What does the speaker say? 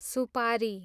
सुपारी